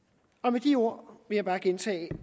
med de ord vil jeg bare gentage